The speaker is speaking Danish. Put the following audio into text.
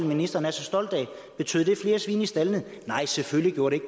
ministeren er så stolt af flere svin i staldene nej selvfølgelig gjorde det